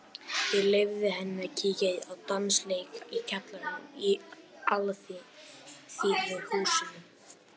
Ég leyfði henni að kíkja á dansleik í kjallaranum í Alþýðuhúsinu.